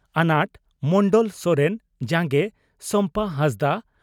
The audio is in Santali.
ᱟᱱᱟᱴ (ᱢᱚᱱᱰᱚᱞ ᱥᱚᱨᱮᱱ) ᱡᱟᱸᱜᱮ (ᱥᱚᱢᱯᱟ ᱦᱟᱸᱥᱫᱟ)